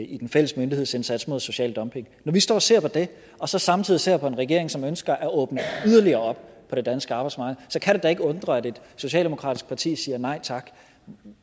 i den fælles myndighedsindsats mod social dumping når vi står og ser på det og så samtidig ser på en regering som ønsker at åbne yderligere op for det danske arbejdsmarked så kan det da ikke undre at et socialdemokratisk parti siger nej tak